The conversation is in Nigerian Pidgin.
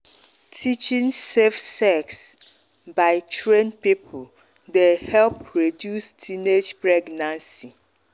teaching safe sex by trained people dey help reduce teenage pregnancy.